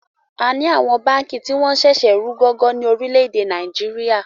À ni àwọn báànkì tí wọn ń sẹ̀sẹ̀ rù gọ́gọ́ ní orílédé Nàìjíríà